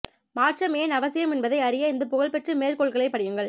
மாற்றம் ஏன் அவசியம் என்பதை அறிய இந்த புகழ்பெற்ற மேற்கோள்களைப் படியுங்கள்